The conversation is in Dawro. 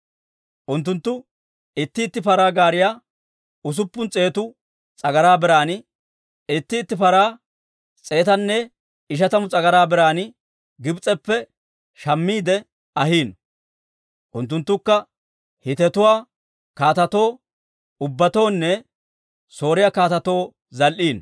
Unttunttu itti itti paraa gaariyaa usuppun s'eetu s'agaraa biran, itti itti paraa s'eetanne ishatamu s'agaraa biran Gibs'eppe shammiide ahiino; unttunttukka Hiitetuwaa kaatetoo ubbatoonne Sooriyaa kaatetoo zal"iino.